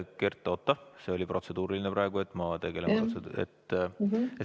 Kert, oota, see oli protseduuriline küsimus ...